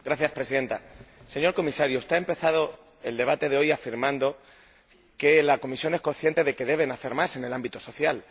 Señora Presidenta, señor Comisario, usted ha empezado el debate de hoy afirmando que la Comisión es consciente de que deben hacer más en el ámbito social.